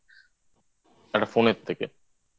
একটা Phone এর থেকে